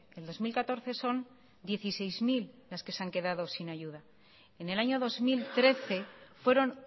el dos mil catorce son dieciséis mil las que se han quedado sin ayuda en el año dos mil trece fueron